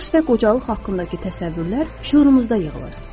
Yaş və qocalıq haqqındakı təsəvvürlər şüurumuzda yığılır.